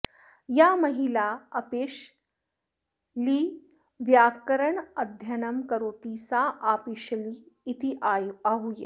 या महिला अपिशलिव्याकरणाध्ययनं करोति सा आपिशली इति आहूयते